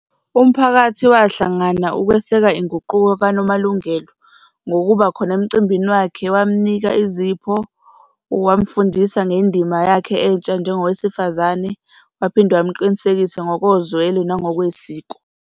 Umphakathi wahlangana ukweseka inguquko kaNomalungelo ngokuba khona emcimbini wakhe, wamnika izipho, wamfundisa ngendima yakhe entsha njengowesifazane, waphinde wamqinisekise ngokozwelo nangokwesiko.